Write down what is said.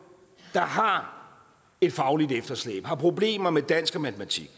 der har et fagligt efterslæb har problemer med dansk og matematik